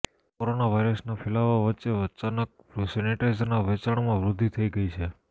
corona વાયરસના ફેલાવા વચ્ચે અચાનક સેનિટાઈઝરના વેચાણમાં વૃદ્ધિ થઈ ગઈ છે